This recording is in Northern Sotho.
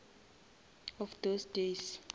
of those days